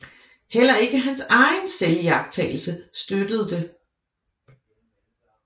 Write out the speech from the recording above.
Heller ikke hans egen selviagtagelse støttede det